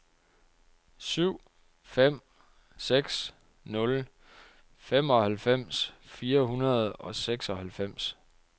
syv fem seks nul femoghalvfems fire hundrede og seksoghalvfems